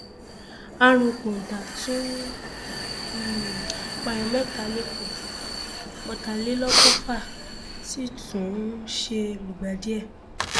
àrùn kóńtá tún um pààyàn mẹta lẹkọọ ọtàlélọgọfà ti tún um lùgbàdì ẹ